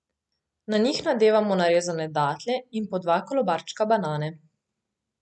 Na njih nadevamo narezane datlje in po dva kolobarčka banane.